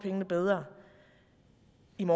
en